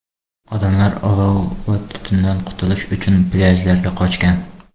Odamlar olov va tutundan qutulish uchun plyajlarga qochgan.